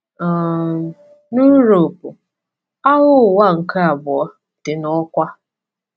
um Na Uropu, Agha Ụwa nke Abụọ dị n’ọkwa.